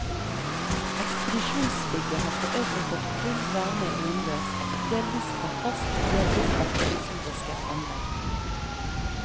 Ekspedisjonsbygget har forøvrig fått full varme innendørs, delvis fra fast, delvis fra provisorisk anlegg.